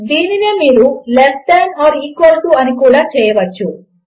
దీనినే మీరు less than or equal to అని కూడా చేయవచ్చు